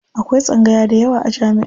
Akwai tsangaya dayawa a jami'a.